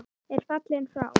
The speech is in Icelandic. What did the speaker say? er fallinn frá.